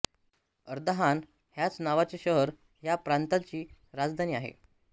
Ardahan ह्याच नावाचे शहर ह्या प्रांताची राजधानी आहे